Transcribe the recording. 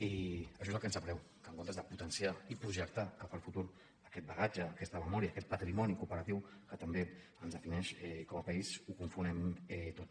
i això és el que ens sap greu que en comptes de potenciar i projectar cap al futur aquest bagatge aquesta memòria aquest patrimoni cooperatiu que també ens defineix com a país ho confonem tot